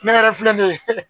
Ne yɛrɛ filɛ nin ye